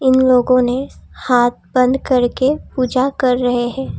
उन लोगों ने हाथ बंद करके पूजा कर रहे हैं।